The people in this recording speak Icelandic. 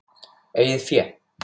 Eigið fé